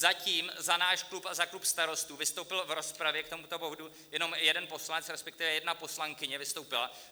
Zatím za náš klub a za klub Starostů vystoupil v rozpravě k tomuto bodu jenom jeden poslanec, respektive jedna poslankyně vystoupila.